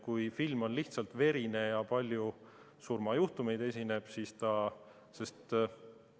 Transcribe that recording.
Kui film on lihtsalt verine ja seal tuleb ette palju surmajuhtumeid, siis ta.